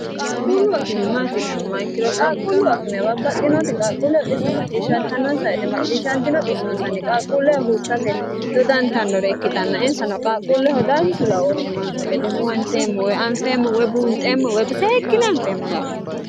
qaaqquulluw akime maatireemmo ikkino qaaqquulluw akime babbaxxinoota qaaqqulle xisso macciishshantannonsa woyte macciishshantino xissonsanni qaalqquulleho huursate dodantannore ikkitanna insano qalqquulleho danchu laooshi nonsa gede huwanteemmo woy anfeemmo wou buunxeemmo woyi seekkine anfeemmo yaate